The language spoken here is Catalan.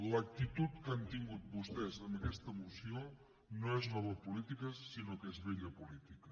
l’actitud que han tingut vostès amb aquesta moció no és nova política sinó que és vella política